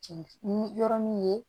ni yɔrɔ min ye